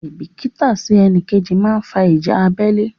Àìbìítà sí ẹnìkejì máa fa ìjà abẹ́lé.